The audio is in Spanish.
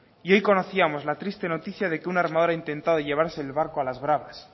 y hoy conocíamos la triste noticia de que un armador ha intentado llevarse al barco a las bravas